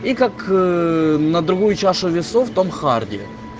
и как на другую чашу весов в том харди